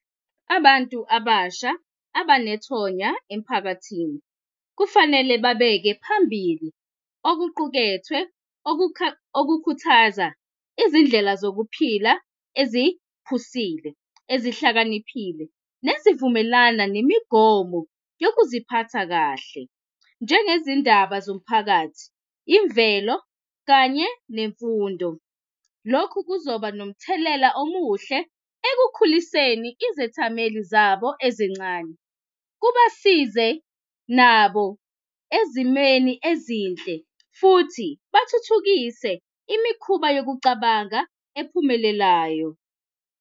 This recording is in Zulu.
Abantu abasha abanethonya emphakathini kufanele babeke phambili okuqukethwe okukhuthaza izindlela zokuphila eziphusile ezihlakaniphile nezivumelana nemigomo yokuziphatha kahle njengezindaba zomphakathi, imvelo kanye nemfundo. Lokhu kuzoba nomthelela omuhle ekukhuliseni izethameli zabo ezincane kubasize nabo ezimweni ezinhle futhi bathuthukise imikhuba yokucabanga ephumelelayo.